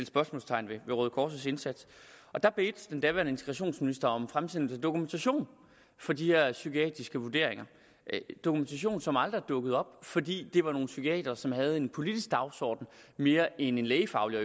spørgsmålstegn ved røde kors indsats da bad den daværende integrationsminister om fremsendelse af dokumentation for de her psykiatriske vurderinger dokumentation som aldrig er dukket op fordi det var nogle psykiatere som havde en politisk dagsorden mere end en lægefaglig og